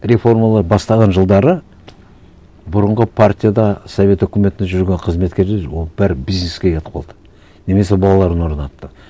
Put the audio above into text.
реформалар бастаған жылдары бұрынғы партияда совет үкіметінде жүрген қызметкерлер ол бәрі бизнеске кетіп қалды немесе балаларын орнатты